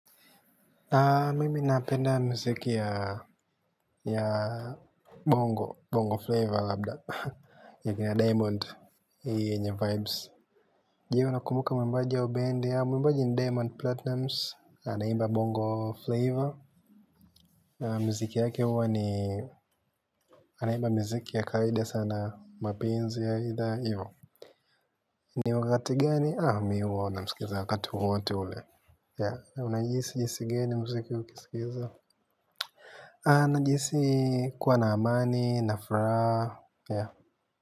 Mimi napenda mziki ya bongo, bongo flava ya diamond, je unakumbuka mwimbaji wa bendi? Mwimbaji ni Diamond platnumz na muziki yake huwa ni anaiba mziki ya kawaida sana mapenzi ya idha ni wakati gani? Mimi huwa nasikiza wakati wowote ule. Unajihisi jinsi gani muziki ukicheza? Najihisi kuwa na amani na furaha.